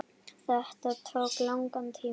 Þetta tók langan tíma.